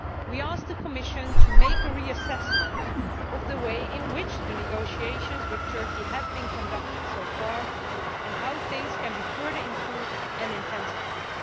we asked the Commission to reassess the way in which the negotiations with Turkey have been conducted so far, and how things can be further improved and intensified.